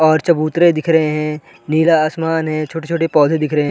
और चबूतरे दिख रहे है नीला आसमान है छोटे-छोटे पौधे दिख रहे --